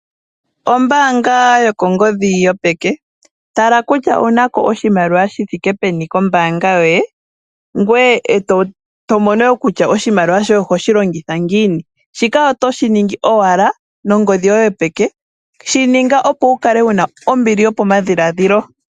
Ombaanga yokongodhi yopeke. Tala kutya owunako oshimaliwa shi thike peni kombaanga yoye. Ngwe eto mono wo kutya oshimaliwa shoye ohoshi longitha ngiini. Shika otoshi ningi owala nongodhi yoye yopeke. Shi ninga opo wukale wuna ombili yopo madhiladhilo.